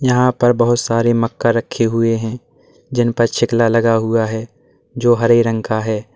यहां पर बहुत सारे मक्का रखी हुए हैं जिनका छिलका लगा हुआ है जो हरे रंग का है।